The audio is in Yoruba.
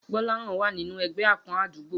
Gbó̩láhàn wà nínú e̩gbé̩ àpó̩n àdúgbò